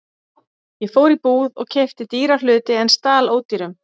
Ég fór í búð og keypti dýra hluti en stal ódýrum.